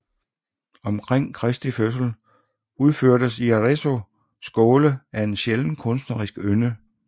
Omkring Kristi fødsel udførtes i Arezzo skåle af en sjælden kunstnerisk ynde